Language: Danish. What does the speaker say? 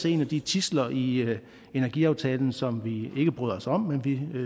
en af de tidsler i energiaftalen som vi ikke bryder os om men vi